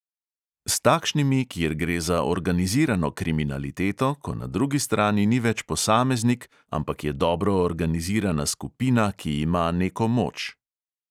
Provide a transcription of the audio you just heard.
S takšnimi, kjer gre za organizirano kriminaliteto, ko na drugi strani ni več posameznik, ampak je dobro organizirana skupina, ki ima neko moč.